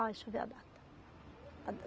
Ah, deixa eu ver a data. A da